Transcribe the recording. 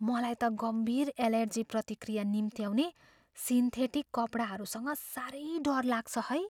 मलाई त गम्भीर एलर्जी प्रतिक्रिया निम्त्याउने सिन्थेटिक कपडाहरूसँग साह्रै डर लाग्छ है।